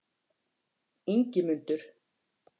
Ingimundur